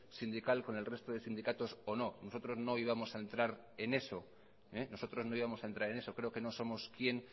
sindical con el resto de sindicatos o no nosotros no íbamos a entrar en eso creo que no somos quien